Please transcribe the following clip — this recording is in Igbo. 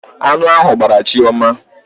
Aṅụ ahụ gbraa Chioma.